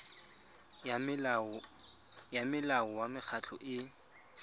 ya molao wa mekgatlho e